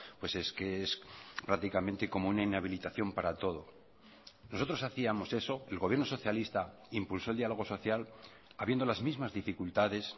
pues es que es prácticamente como una inhabilitación para todo nosotros hacíamos eso el gobierno socialista impulsó el diálogo social habiendo las mismas dificultades